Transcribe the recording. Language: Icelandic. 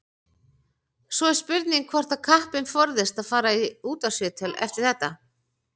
Svo er spurning hvort að kappinn forðist að fara í útvarpsviðtöl eftir þetta.